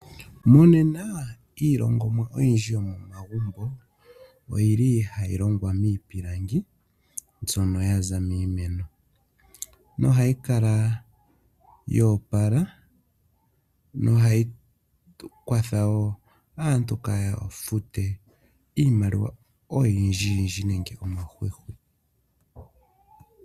Monena iilongomwa oyindji yomomagumbo oyili hayi longwa miipilangi mbyono yaza miimeno nohayi kala yo opala, nohayi tu kwatha wo aantu kaa ya fute iimaliwa oyindji yindji nenge omahwihwi.